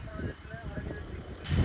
Koroğlu, haraya gedirsən?